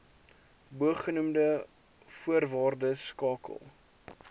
bogenoemde voorwaardes skakel